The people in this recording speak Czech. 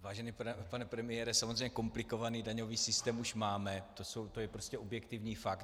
Vážený pane premiére, samozřejmě komplikovaný daňový systém už máme, to je prostě objektivní fakt.